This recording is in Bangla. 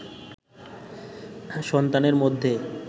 সন্তানের মধ্যে